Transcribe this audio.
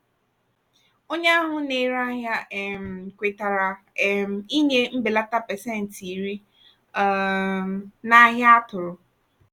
onye ahụ na-ere ahịa um kwetara um ịnye mbelata pasentị iri (10%) um n'ahia atụ̀rụ̀.